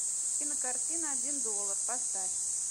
кинокартина один доллар поставь